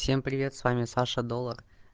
всем привет с вами саша доллар